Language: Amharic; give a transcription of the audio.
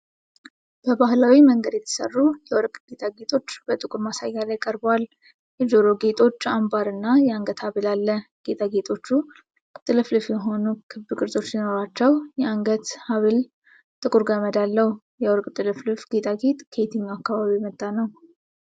በባህላዊ መንገድ የተሰሩ የወርቅ ጌጣጌጦች በጥቁር ማሳያ ላይ ቀርበዋል። የጆሮ ጌጦች፣ አምባር እና የአንገት ሐብል አለ። ጌጣጌጦቹ ጥልፍልፍ የሆኑ ክብ ቅርጾች ሲኖሯቸው የአንገት ሐብሉ ጥቁር ገመድ አለው። የወርቅ ጥልፍልፍ ጌጣጌጥ ከየትኛው አካባቢ የመጣ ነው?